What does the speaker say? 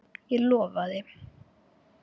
Ég lofaði.